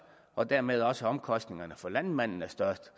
og dermed også omkostningerne for landmændene er størst